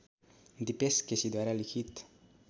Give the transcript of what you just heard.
दिपेश केसीद्वारा लिखित